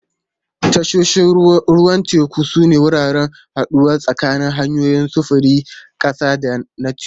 Tashoshin ruwan teku sune wuraren haɗuwa tsakanin hanyoyin sufurin ƙasa da na teku.